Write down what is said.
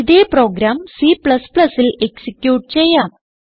ഇതേ പ്രോഗ്രാം Cൽ എക്സിക്യൂട്ട് ചെയ്യാം